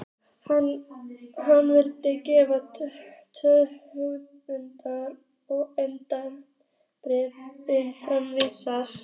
Hann vill greiða tvö hundruð hundraða en engum bréfum framvísa!